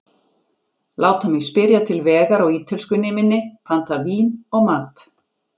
Láta mig spyrja til vegar á ítölskunni minni, panta vín og mat.